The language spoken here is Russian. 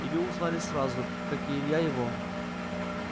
илью узнали сразу как и илья его